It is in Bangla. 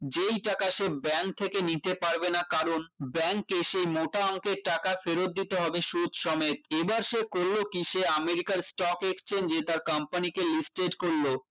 যেই টাকা সে bank থেকে নিতে পারবে না কারণ bank এসে মোটা অংকের টাকা ফেরত দিতে হবে সুদ সমেত এবার সে করলো কি সে আমেরিকার stock exchange এ তার company কে listed করল